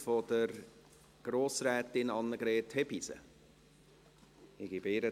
Die zuständigen Organe werden beauftragt, rasch eine spürbare Verbesserung der finanziellen Situation herbeizuführen.